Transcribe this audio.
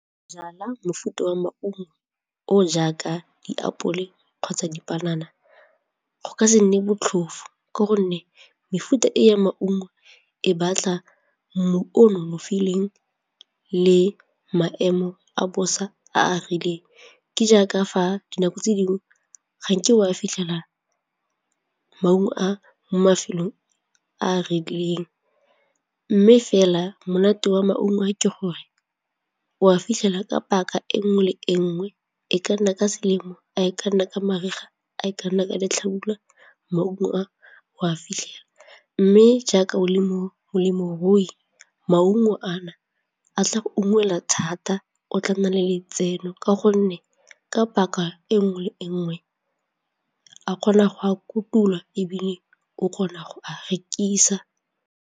Go jala mofuta wa maungo o jaaka diapole kgotsa dipanana go ka se nne botlhofu ka gonne mefuta e ya maungo e batla mmu o nonofileng le maemo a bosa a a rileng, ke jaaka fa dinako tse dingwe ga nke o a fitlhela maungo a mo mafelong a a rileng mme fela monate wa maungo a ke gore o a fitlhela ka paka e nngwe le e nngwe e kana ka selemo, a e kana ka mariga, a e kana ka letlhabula maungo a o a fitlhela mme jaaka o le molemirui maungo a na a tla ungwelwa thata o tla nna le letseno ka gonne ka paka e nngwe le e nngwe a kgona go a kotula ebile o kgona go a rekisa.